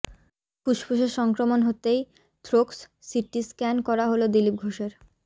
ফুসফুসে সংক্রমণ হতেই থ্রোক্স সিটি স্ক্য়ান করা হল দিলীপ ঘোষের